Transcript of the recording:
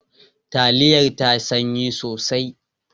Taliyar ta sanyi sosai.